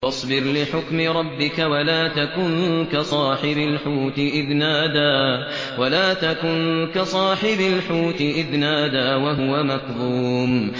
فَاصْبِرْ لِحُكْمِ رَبِّكَ وَلَا تَكُن كَصَاحِبِ الْحُوتِ إِذْ نَادَىٰ وَهُوَ مَكْظُومٌ